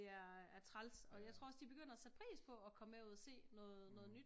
Det er øh træls og jeg tror også de begynder at sætte pris på og komme med ud og se noget noget nyt